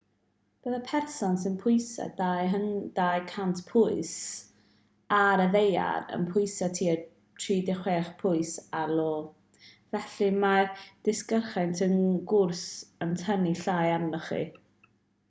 byddai person sy'n pwyso 200 pwys 90kg ar y ddaear yn pwyso tua 36 pwys 16kg ar io. felly mae'r disgyrchiant wrth gwrs yn tynnu llai arnoch chi